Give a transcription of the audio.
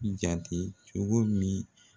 Jate cogo min